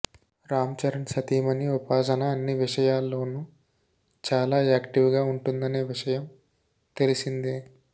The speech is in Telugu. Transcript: రామ్ చరణ్ సతీమణి ఉపాసన అన్ని విషయాల్లోనూ చాలా యాక్టీవ్గా ఉంటుందనే విషయం తెలిసిందే